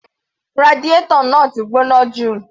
Radiator náà ti gbóná jù.